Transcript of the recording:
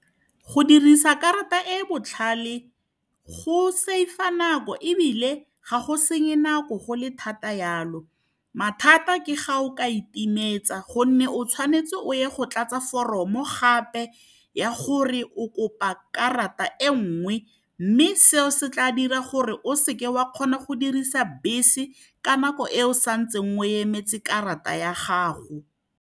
Go dirisa karata e e botlhale go save-a nako ebile ga go senye nako go le thata yalo. Mathata ke fa o ka e timetsa, gonne o tshwanetse o ye go tlatsa fororomo gape ya gore o kopa karata e nngwe. Mme seo se tla dira gore o seke wa kgona go dirisa bese ka nako e o sa ntseng o emetse karata ya gago.